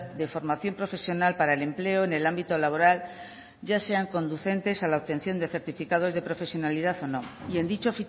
de formación profesional para el empleo en el ámbito laboral ya sean conducentes a la obtención de certificados de profesionalidad o no y en dicho